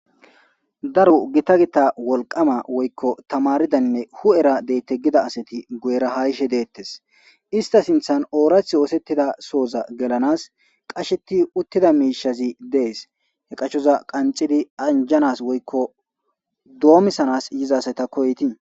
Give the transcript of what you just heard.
Daro gita gita wolqama woykko tamaridaynne hu.era deyte gida asati guera hayshe deettes ista sinthan oorath oosettida sooza gelanas qasheti uttida miishazi dees he qashoza qanxidi anjanas woykko doomisanas yizasayta koyti.